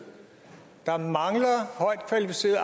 der mangler højtkvalificeret